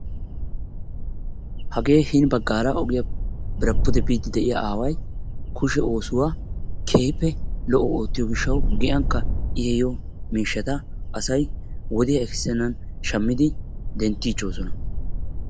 Hagee hini baggaara ogiyaara pude biide de'iyaa aaway kushee oosuwa keehippe lo''o oottiyo gishshawu giyankka I ehiyoo miishshata asay wodiyaa ekisenan shammidi denttichoosona.